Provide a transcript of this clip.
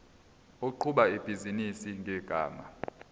oqhuba ibhizinisi ngegama